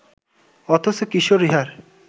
অথচ কিশোর ইহার